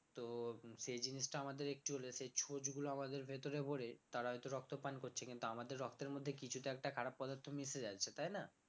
তো সেই জিনিসটা আমাদের একটু হলে সে ছোচ গুলো আমাদের ভেতরে ভরে তারাই তো রক্ত পান করছে কিন্তু আমাদের রক্তের মধ্যে কিছু তো একটা খারাপ পদার্থ মিশে যাচ্ছে তাই না